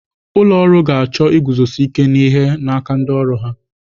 Ụlọ ọrụ ga-achọ iguzosi ike n'ihe n'aka ndị ọrụ ya.